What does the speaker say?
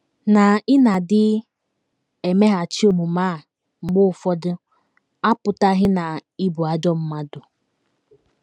Na ị na - adị emeghachi omume a mgbe ụfọdụ apụtaghị na ị bụ ajọ mmadụ.